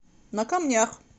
на камнях